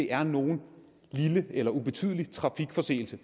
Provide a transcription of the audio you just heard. er nogen lille eller ubetydelig trafikforseelse